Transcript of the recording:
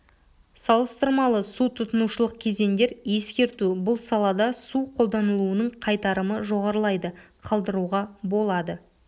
салыстырмалы су тұтынушылық кезеңдер ескерту бұл салада су қолданылуының қайтарымы жоғарылайды қалдыруға болады